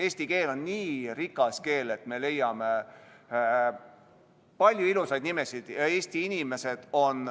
Eesti keel on nii rikas, et me leiame palju ilusaid nimesid.